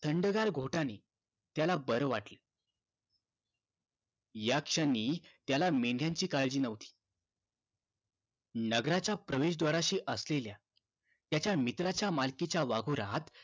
थंडगार घोटाने त्याला बर वाटलं या क्षणी त्याला मेंढ्याची काळजी न्हवती नगरा च्या प्रवेश द्वाराशी असलेल्या त्याच्या मित्राच्या मालकीच्या वाघोऱ्यात